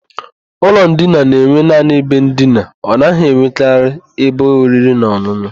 Ụlọ ndina na-enwe naanị ebe ndina, ọ naghị enwekarị ebe oriri na ọn̄ụn̄ụ.